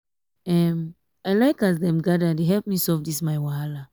um i like um as dem gather dey help me solve dis my wahala.